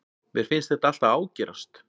Mér finnst það alltaf ágerast.